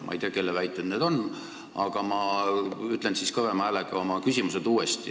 Ma ei tea, kelle väited need on, aga ütlen nüüd kõvema häälega oma küsimused uuesti.